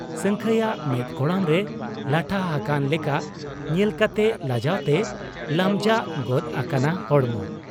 ᱥᱟᱹᱝᱠᱷᱟᱹᱭᱟᱜ ᱢᱮᱫ ᱠᱚᱲᱟᱢ ᱨᱮ ᱞᱟᱴᱷᱟ ᱦᱟᱠᱟᱱ ᱞᱮᱠᱟ ᱧᱮᱞ ᱠᱟᱛᱮ ᱞᱟᱡᱟᱣᱛᱮ ᱞᱟᱢᱡᱟᱜ ᱜᱚᱫ ᱟᱠᱟᱱᱟ ᱦᱚᱲᱢᱚ ᱾